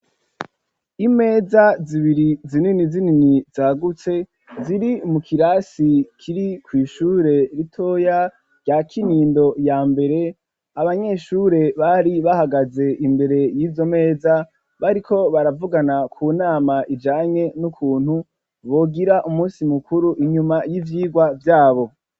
Imeza zibiri zinini zinini zagutse ziri mu kirasi kiri kw'ishure ritoya rya kinindo ya mbere, abanyeshure bari bahagaze imbere y'izo meza bariko baravugana ku nama ijanye n'ukuntu bogira umunsi mukuru inyuma y'ivyigwa vyabo.